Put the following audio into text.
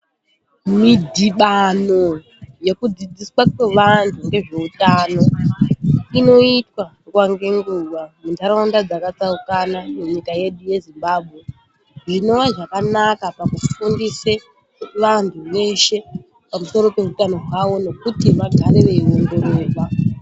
Midhibano yekudzidziswa kwevantu ngezveutano inoitwa nguwa ngenguwa mundaraunda dzaka tsaukana munyika yedu yeZimbabwe, zvinova zvakanaka pakufundise vantu veshe pamusoro peutano wavo nekuti vagare veyi ongororwa.